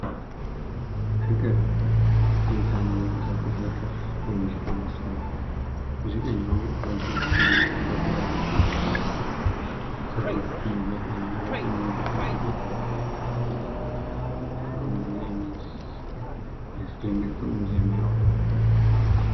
የፍቅር ትዝታን የሚቀሰቅስ የክር የሙዚቃ መሳሪያ ሙዚቀኛዉ በእጆቹ ይዞታል። በግራ እጁ ክሮቹን እየቃኘ በቀኝ እጁ የክራሩን ክር ይገርፈዋል። ግሩም እና የሚያሰሰደንቅ ጥዑም ዜማ ያወጣል።!